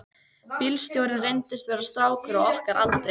Bílstjórinn reyndist vera strákur á okkar aldri.